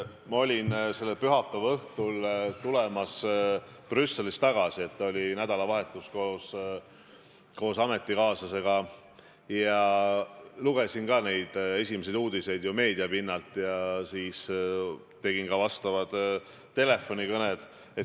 Ma olin selle pühapäeva õhtul tulemas Brüsselist tagasi, oli olnud nädalavahetus koos ametikaaslasega, ma lugesin ka neid esimesi uudiseid ju meediast ja siis tegin ka telefonikõned.